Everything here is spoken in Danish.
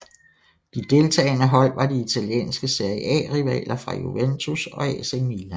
De deltagende hold var de italienske Serie A rivaler fra Juventus og AC Milan